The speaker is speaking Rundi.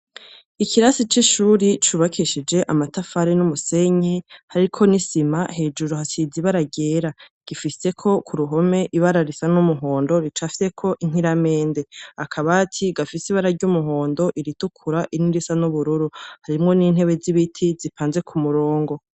Ikirasi c'ishuri cubakishije amatafari n'umusenyi hariko n'isima hejuru hasize ibara ryera, gifiseko kuruhome ibara risa n'umuhondo ricafyeko inkiramende, akabati gafise ibara ry'umuhondo iritukura irindi risa n'ubururu, harimwo n'intebe zibiti zipanze kumurongo.